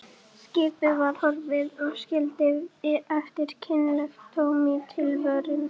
Skipið var horfið og skildi eftir kynlegt tóm í tilverunni.